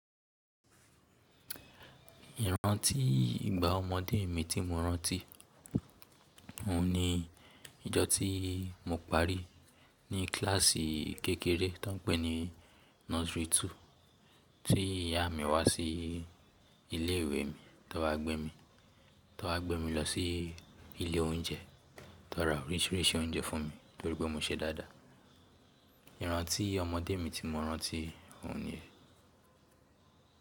Ìrántí ìgbà ọmọdé mi tí mo rántí, òun ni ijọ́ tí mo parí ní kíláàsì kékeré tó ń pè ní Nursery two, tí ìyá mi wá sí ilé ìwé mi, tan wá gbé mi, tan wá gbé mi lọ sí ilé oúnjẹ, tan ra oríṣiríṣi oúnjẹ fún mi torí pé mo ṣe dáadáa. Ìrántí ọmọdé mi tí mo rántí, òun ni.